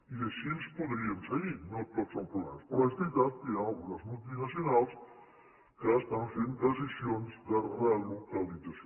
i així podríem seguir no tot són problemes però és veritat que hi han algunes multinacionals que estan fent decisions de relocalització